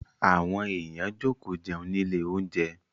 Àwọn èèyàn jókòó jẹun nílé oúnjẹ.